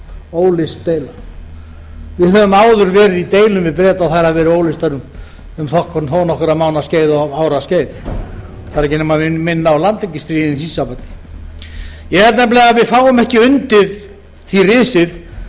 óleyst deila við höfum áður verið í deilum við breta og þær hafa verið óleystar um þó nokkurra mánaða skeið og ára skeið það þarf ekki nema minna á landhelgisstríðin í því sambandi ég held nefnilega að við fáum ekki undir því risið